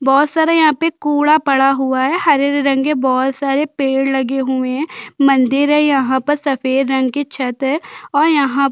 बोहत सारे यहाँ पे कूड़ा पड़ा हुआ हैं हरे-हरे रंग के बोहत सारे पेड़ लगे हुए हैं मंदिर है यहाँ पास सफेद रंग के छत है और यहाँ--